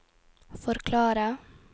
forklare